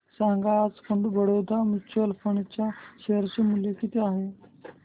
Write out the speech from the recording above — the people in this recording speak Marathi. सांगा आज बडोदा म्यूचुअल फंड च्या शेअर चे मूल्य किती आहे